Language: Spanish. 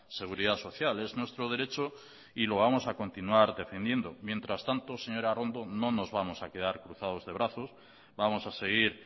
seguridad social es nuestro derecho y lo vamos a continuar defendiendo mientras tanto señora arrondo no nos vamos a quedar cruzados de brazos vamos a seguir